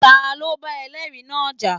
Ta ló bá ẹlẹ́ẹ̀rí náà jà?